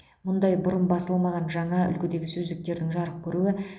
мұндай бұрын басылмаған жаңа үлгідегі сөздіктердің жарық көруі